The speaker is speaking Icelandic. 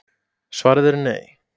Svarið er Nei.